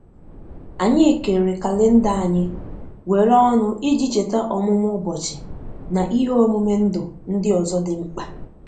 anyi kere kalenda anyi were ọnụ iji cheta ọmụmụ ụbochi na ihe omume ndụ di ozo di mkpa